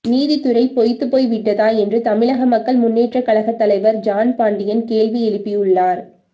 நீதி துறை பொய்த்து போய் விட்டதா என்று தமிழக மக்கள் முன்னேற்ற கழக தலைவர் ஜான் பாண்டியன் கேள்வி எழுப்பியுள்ளார்